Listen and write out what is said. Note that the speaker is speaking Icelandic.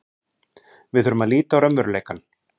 Við þurfum að líta á raunveruleikann.